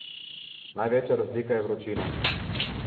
Največja razlika je vročina.